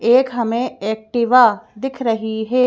एक हमें एक्टिवा दिख रही है।